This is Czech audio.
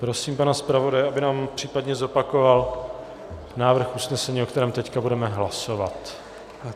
Prosím pana zpravodaje, aby nám případně zopakoval návrh usnesení, o kterém teď budeme hlasovat.